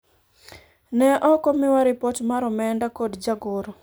ne ok omiwa ripot mar omenda kod jagoro